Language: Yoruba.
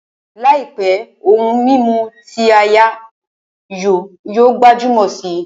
Làìpé, ohun mímu ti áyá yóò gbajúmọ̀ si